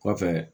Kɔfɛ